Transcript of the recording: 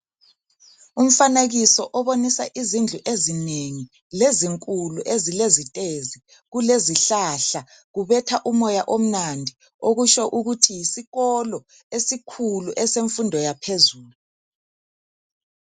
Umfanekiso obonisa izindlu ezinengi lezinkulu ezilezitezi kulezihlahla kubetha umoya omnandi okutsho ukuthi yisikolo esikhulu esemfundo yaphezulu.